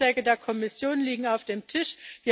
Die Vorschläge der Kommission liegen auf dem Tisch.